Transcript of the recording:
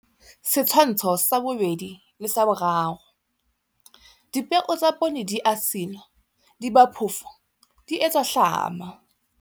Setshwantsho sa 2 le 3. Dipeo tsa poone di a silwa, di ba phofo, di etswa hlama.